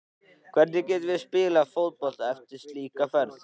Hvernig getum við spilað fótbolta eftir slíka ferð?